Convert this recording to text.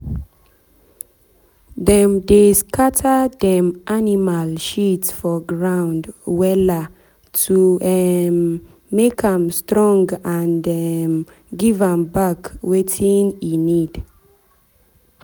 dem dey scatter dem animal shit for ground wella to um make am strong and um give am back wetin e need.